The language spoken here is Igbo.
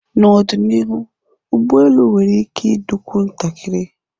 N'ọdịnihu, ụgbọelu nwere ike ịdịkwu ntakịrị.